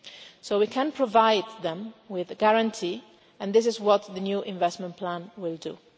So we can provide them with a guarantee, and this is what the new investment plan will do.